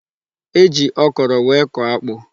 E ji okoro wee kọọ akpụ.